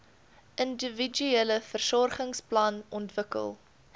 individuele versorgingsplan ontwikkel